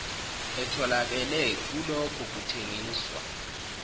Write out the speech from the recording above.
etholakele kulokho kuthengiswa